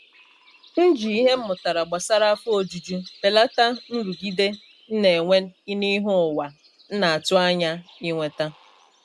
M ji ìhè m mụtara gbasara afọ ojuju belata nrụgide m na-enwe n’ihe ụwa nna atụ anya inweta.